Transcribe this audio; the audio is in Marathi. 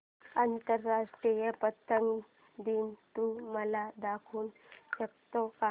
आंतरराष्ट्रीय पतंग दिन तू मला दाखवू शकतो का